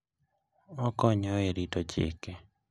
Okonyo e rito chike.